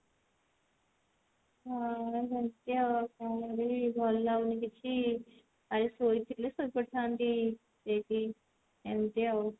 ହଁ ବସିଛି ଆଉ ଭଲ କଣ କରିବି ଭଲ ଲାଗୁନି କିଛି ଆଜି ଶୋଇଥିଲେ ଶୋଇପଡିଥାନ୍ତି ଏମତି ଆଉ